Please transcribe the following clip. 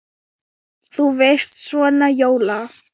Þú veist. svona jóla.